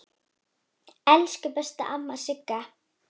Elsku besta amma Sigga.